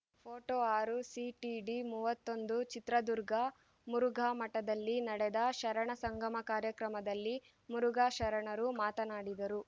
photo ಆರು CTD ಮೂವತ್ತೊಂದು ಚಿತ್ರದುರ್ಗ ಮುರುಘಾಮಠದಲ್ಲಿ ನಡೆದ ಶರಣ ಸಂಗಮ ಕಾರ್ಯಕ್ರಮದಲ್ಲಿ ಮುರುಘಾಶರಣರು ಮಾತನಾಡಿದರು